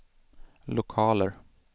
lokaler